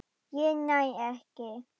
Ég næ ekki.